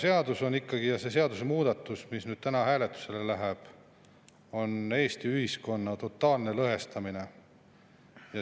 Seadusemuudatus, mis täna hääletusele läheb, on Eesti ühiskonna totaalne lõhestamine.